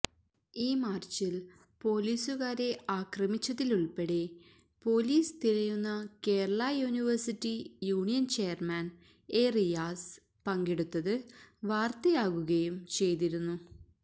ഈ മാർച്ചിൽ പൊലീസുകാരെ ആക്രമിച്ചതിലുള്പ്പെടെ പൊലീസ് തിരയുന്ന Kerala university union chairman A Riyas പങ്കെടുത്തത് വാർത്തയാകുകയും ചെയ്തിരുന്നു